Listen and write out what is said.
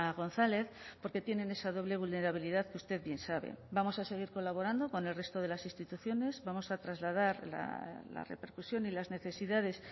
gonzález porque tienen esa doble vulnerabilidad que usted bien sabe vamos a seguir colaborando con el resto de las instituciones vamos a trasladar la repercusión y las necesidades